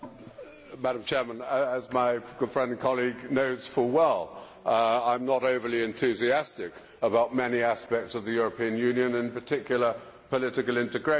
Madam President, as my good friend and colleague knows full well, I am not overly enthusiastic about many aspects of the European Union, in particular political integration.